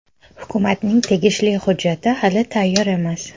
Hukumatning tegishli hujjati hali tayyor emas .